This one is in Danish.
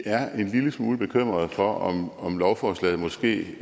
lille smule bekymrede for om om lovforslaget måske